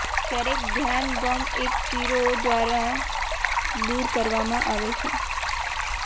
ક્યારેક ધ્યાન ગમ એક ચીરો દ્વારા દૂર કરવામાં આવે છે